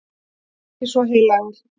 Ekki svo heilagur.